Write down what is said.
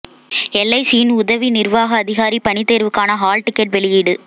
எல்ஐசியின் உதவி நிர்வாக அதிகாரி பணி தேர்வுக்கான ஹால் டிக்கெட் வெளியீடு